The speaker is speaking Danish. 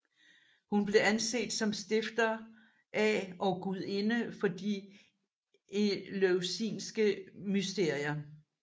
Hun blev anset som stifter af og gudinde for de eleusinske mysterier